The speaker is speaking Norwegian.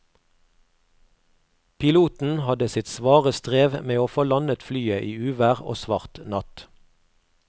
Piloten hadde sitt svare strev med å få landet flyet i uvær og svart natt.